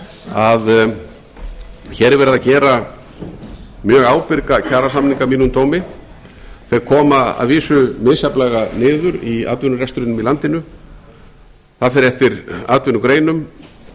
að hér er verið að gera mjög ábyrga kjarasamninga að mínum dómi þeir koma að vísu misjafnlega niður í atvinnurekstrinum í landinu það fer eftir atvinnugreinum